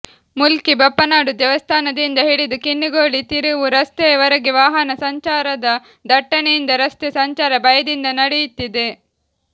ಮೂಲ್ಕಿ ಬಪ್ಪನಾಡು ದೇವಸ್ಥಾನದಿಂದ ಹಿಡಿದು ಕಿನ್ನಿಗೋಳಿ ತಿರುವು ರಸ್ತೆಯ ವರೆಗೆ ವಾಹನ ಸಂಚಾರದ ದಟ್ಟನೆಯಿಂದ ರಸ್ತೆ ಸಂಚಾರ ಭಯದಿಂದ ನಡೆಯುತ್ತಿದೆ